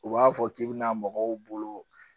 U b'a fɔ k'i bɛna mɔgɔw bolo